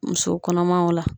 Muso kɔnɔmaw la